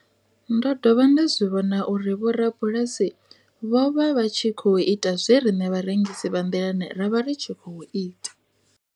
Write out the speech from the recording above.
Ndo dovha nda zwi vhona uri vhorabulasi vho vha vha tshi khou ita zwe riṋe vharengisi vha nḓilani ra vha ri tshi khou ita.